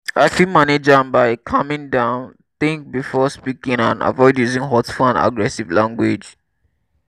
i fit manage am by calming down think before speaking and avoid using hurtful and aggressive language.